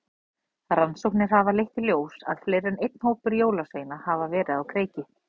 Rannsóknir hafa leitt í ljós að fleiri en einn hópur jólasveina hafa verið á kreiki.